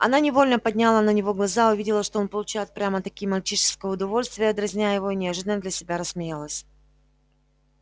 она невольно подняла на него глаза увидела что он получает прямо-таки мальчишеское удовольствие дразня её и неожиданно для себя рассмеялась